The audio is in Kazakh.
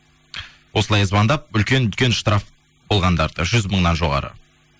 осылай звондап үлкен үлкен штраф болғандарды жүз мыңнан жоғары